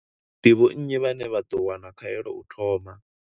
Ndi vho nnyi vhane vha ḓo wana khaelo u thoma?